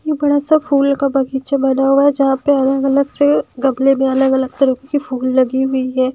यह बड़ा सा फूल का बगीचा बना हुआ है जहाँ पे अलग-अलग से गबले में अलग अलग तरह के फूल लगी हुई है।